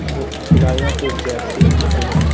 खे खिलाड़ियों के जर्सी मिलते हैं ।